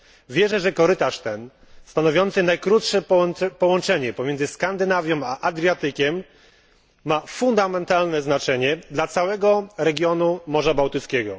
Wierzę, że korytarz ten, stanowiący najkrótsze połączenie pomiędzy Skandynawią a Adriatykiem, ma fundamentalne znaczenie dla całego regionu Morza Bałtyckiego.